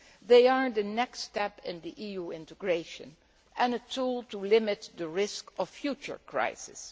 They are the next step in EU integration and a tool to limit the risk of future crises.